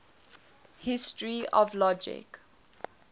history of logic